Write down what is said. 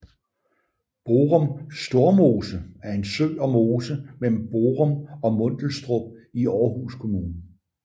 Borum Stormose er en sø og mose mellem Borum og Mundelstrup i Aarhus Kommune